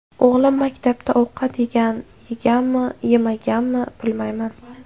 O‘g‘lim maktabda ovqat yeganmi yemaganmi bilmayman.